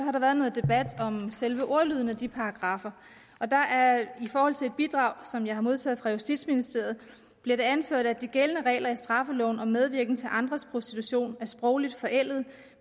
har været nogen debat om selve ordlyden af de paragraffer og der er i et bidrag som jeg har modtaget fra justitsministeriet anført at de gældende regler i straffeloven om medvirken til andres prostitution er sprogligt forældede